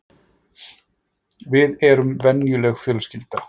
Við erum venjuleg fjölskylda